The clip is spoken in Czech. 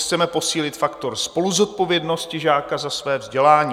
Chceme posílit faktor spoluzodpovědnosti žáka za své vzdělání.